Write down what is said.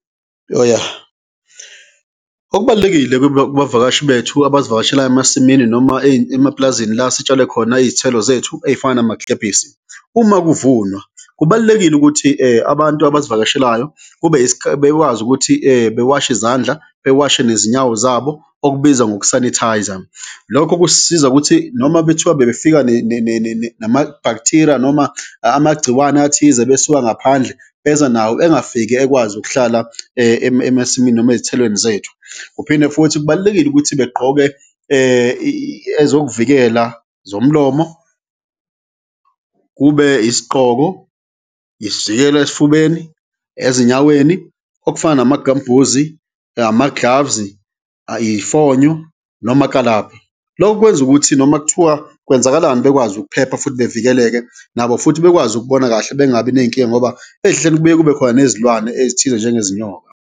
Okubalulekile kubavakashi bethu abasivakashela emasimini noma emapulazini la sitshale khona iy'thelo zethu ey'fana namagilebhisi, uma kuvunwa kubalulekile ukuthi abantu abasivakashelayo bekwazi ukuthi bewashe izandla bewashe nezinyawo zabo, okubizwa ngoku-sanitise-a, lokho kusisiza ukuthi noma bethiwa bebefika nama-bacteria noma amagciwane athize besuka ngaphandle beza nawo, engafiki ekwazi ukuhlala emasimini noma ezithelweni zethu. Kuphinde futhi kubalulekile ukuthi begqoke ezokuvikela zomlomo, kube isigqoko, isivikelo esifubeni, ezinyaweni okufana nama-gum boozy, ama-gloves-i, iy'fonyo nomakalabha, loko kwenza ukuthi noma kuthiwa kwenzakalani bekwazi ukuphepha futhi bevikeleke nabo futhi bekwazi ukubona kahle bengabi ney'nkinga ngoba ey'hlahleni kubuye kube khona nezilwane ezithize njengezinyoka.